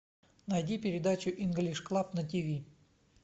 найди передачу инглиш клаб на тиви